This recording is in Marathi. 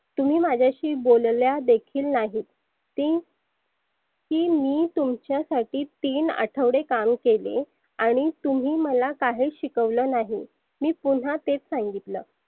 तुम्ही माझ्याशी बोलल्या देखील नाही की की मी तुमच्यासाठी तीन अठवडे काम केले आणि तुम्ही मला काहीच शिकवले नाही मी पुन्हा तेच सांगितलं.